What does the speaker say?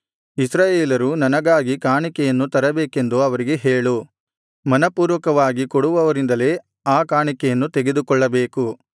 ಇಸ್ರಾಯೇಲರು ನನಗಾಗಿ ಕಾಣಿಕೆಯನ್ನು ತರಬೇಕೆಂದು ಅವರಿಗೆ ಹೇಳು ಮನಃಪೂರ್ವಕವಾಗಿ ಕೊಡುವವರಿಂದಲೇ ಆ ಕಾಣಿಕೆಯನ್ನು ತೆಗೆದುಕೊಳ್ಳಬೇಕು